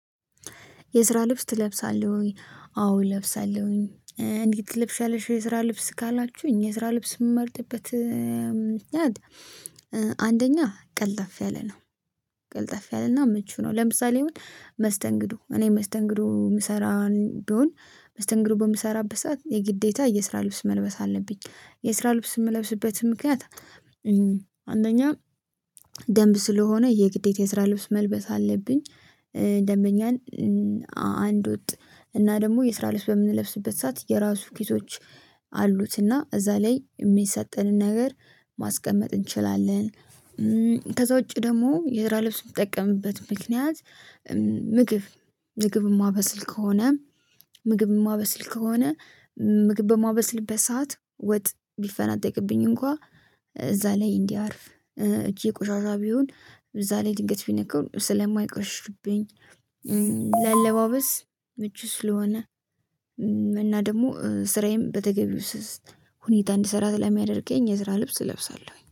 የስራ ልብስ ትለብሳለህ ወይ? አዎ እለብሳለሁኝ። እንዴት ትለብሻለሽ? የስራ ልብስ ካላችሁኝ የስራ ልብስ የምመርጥበት ምክንያት አንደኛ ቀልጠፍ ያለ ነው ቀልጠፍ ያለ እና ምቹ ነው። ለምሳሌ አሁን መስተንግዶ እኔ መስተንግዶ የምሰራ ብሆን መስተንግዶ በምሰራበት ሰዓት የግዴታ የስራ ልብስ መልበስ አለብኝ። የስራ ልብስ የምለብስበት ምክንያት አንደኛ ደንብ ስለሆነ የግዴታ የስራ ልብስ መልበስ አለብኝ። ደንበኛን አንድ ወጥ እና ደግሞ የስራ ልብስ በምንለብስበት ሰዓት የራሱ ኪሶች አሉት እና እዛ ላይ የሚሰጠንን ነገር ማስቀመጥ እንችላለን። ከዛ ውጪ ደግሞ የስራ ልብስ የምጠቀምበት ምክንያት ምግብ ምግብ የማበስል ከሆነ ምግብ የማበስል ከሆነ ምግብ በማበስልበት ሰዓት ወጥ ቢፈናጠቅብኝ እንኳን እዛ ላይ እንዲያርፍ እጄ ቆሻሻ ቢሆን እዛ ላይ ድንገት ቢነካው ስለማይቆሽሽብኝ። ለአለባበስ ምቹ ስለሆነ እና ደግሞ ስራዬም በተገቢው ሁኔታ እንድሰራ ስላሚያደርገኝ የስራ ልብስ እለብሳለሁኝ